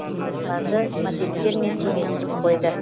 оларды мопедтермен теңестіріп қойды